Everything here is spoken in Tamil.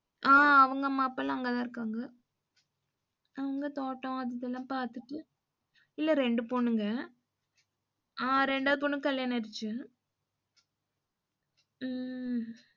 அ அவங்க அம்மா அப்பாலாம் அங்கதான் இருக்காங்க. அவங்க தோட்டம் இதெல்லாம் பாத்துட்டு இல்ல ரெண்டு பொண்ணுங்க. அ ரெண்டாவது பொண்ணுக்கு கல்யாணம் ஆகிடுச்சு உம்